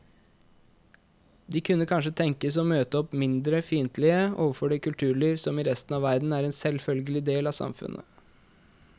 De kunne kanskje tenkes å møte opp mindre fiendtlige overfor det kulturliv som i resten av verden er en selvfølgelig del av samfunnet.